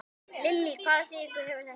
Lillý: Hvaða þýðingu hefur þetta?